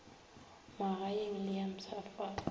ya magaeng le ya mpshafatšo